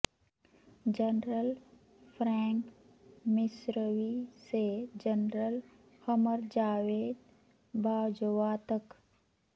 general Frank Messervy سے general Qamar Javed Bajwa تک